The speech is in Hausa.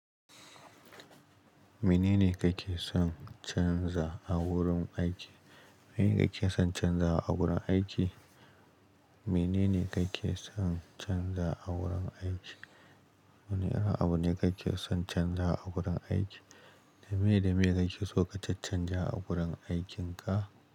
Menene kake son canza a wurin aiki? Menene kake son canza a gurin aiki? Menene kake son canza a wurin aiki? Wane irin abu ne kake son canza a wurin aiki? Da miye da miye kake son ka caccanja a wurin aiki ka?